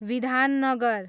Bidhannagar